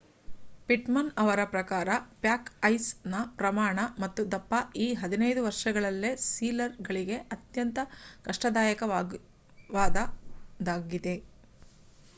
Pitman ಅವರ ಪ್ರಕಾರ pack ice ನ ಪ್ರಮಾಣ ಮತ್ತು ದಪ್ಪ ಈ 15 ವರ್ಷಗಳಲ್ಲೇ ಸೀಲರ್ ಗಳಿಗೆ ಅತ್ಯಂತ ಕಷ್ಟದಾಯಕವಾದದ್ದಾಗಿದೆ